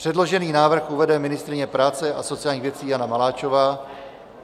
Předložený návrh uvede ministryně práce a sociálních věcí Jana Maláčová.